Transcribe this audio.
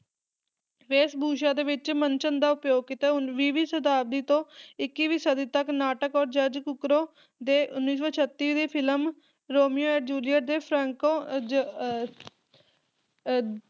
ਵੇਸ਼ਭੂਸ਼ਾ ਦੇ ਵਿੱਚ ਮਨਚਨ ਦਾ ਉਪਯੋਗ ਕੀਤਾ ਉਨ ਵੀਹ ਵੀਂ ਸ਼ਤਾਬਦੀ ਤੋਂ ਇਕੀਵੀਂ ਸਦੀ ਤੱਕ ਨਾਟਕ ਔਰ ਜਾਰਜ ਕੁਕੋਰ ਦੇ ਉੱਨੀ ਸੌ ਛੱਤੀ ਦੀ ਫਿਲਮ ਰੋਮੀਓ ਐਂਡ ਜੂਲੀਅਟ ਦੇ ਫ੍ਰੈਂਕੋ ਜ ਅਹ ਅਹ